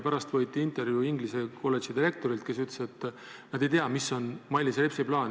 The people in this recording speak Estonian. Pärast võeti intervjuu inglise kolledži direktorilt, kes ütles, et ta ei tea, mis on Mailis Repsi plaan.